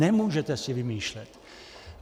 Nemůžete si vymýšlet.